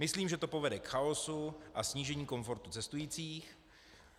Myslím, že to povede k chaosu a snížení komfortu cestujících.